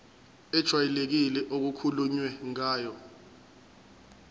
ejwayelekile okukhulunywe ngayo